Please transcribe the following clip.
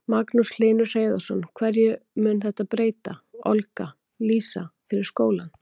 Magnús Hlynur Hreiðarsson: Hverju mun þetta breyta, Olga Lísa, fyrir skólann?